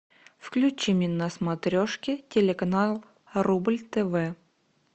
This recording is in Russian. включи мне на смотрешке телеканал рубль тв